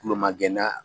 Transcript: Kuloma gɛnna